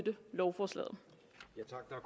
er